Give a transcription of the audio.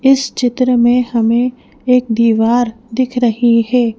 इस चित्र में हमें एक दीवार दिख रही है।